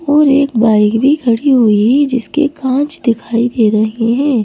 और एक बाइक भी खड़ी हुई है जिसके काँच दिखाई दे रहे हैं ।